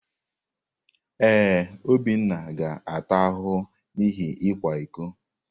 Ee, Obinna ga-ata ahụhụ n’ihi ịkwa iko.